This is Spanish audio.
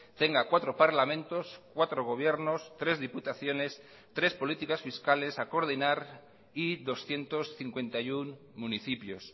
tenga cuatro parlamentos cuatro gobiernos tres diputaciones tres políticas fiscales a coordinar y doscientos cincuenta y uno municipios